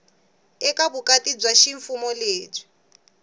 eka vukati bya ximfumo lebyi